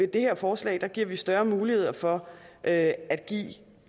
det her forslag giver vi større mulighed for at give